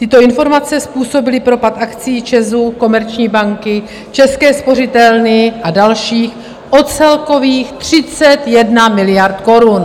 Tyto informace způsobily propad akcií ČEZu, Komerční banky, České spořitelny a dalších o celkových 31 miliard korun.